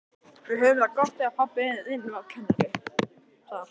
Við höfðum það gott þegar pabbi þinn var kennari þar.